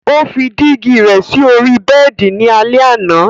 Ó fí dígì rẹ sí ọ̀rí bẹẹ̀di ni alẹ̀ àna.